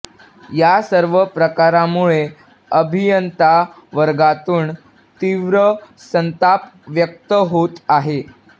या सर्व प्रकारामुळे अभियंतावर्गातून तीव्र संताप व्यक्त होत आहे